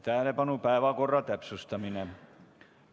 Tähelepanu, päevakorra täpsustamine!